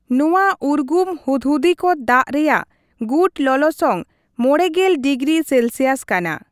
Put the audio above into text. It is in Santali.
ᱱᱚᱣᱟ ᱩᱨᱜᱩᱢ ᱦᱩᱫᱽᱦᱚᱫᱤ ᱠᱚ ᱫᱟᱜ ᱨᱮᱭᱟᱜ ᱜᱩᱴ ᱞᱚᱞᱚᱥᱚᱝ ᱕᱐ ᱰᱤᱜᱽᱨᱤ ᱥᱮᱞᱥᱤᱭᱟᱥ ᱠᱟᱱᱟ ᱾